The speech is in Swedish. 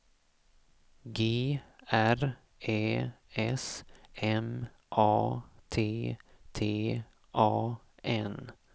G R Ä S M A T T A N